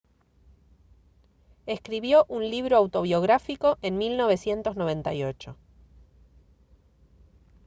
escribió un libro autobiográfico en 1998